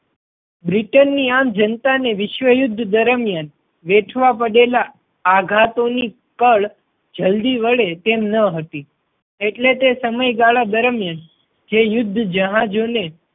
Britain ની આમ જનતા ને વિશ્વ યુદ્ધ દરમિયાન વેઠવા પડેલા આઘાતો ની કળ જલ્દી વળે તેમ ન હતી એટલે તે સમયગાળા દરમિયાન જે યુદ્ધ જહાજો ને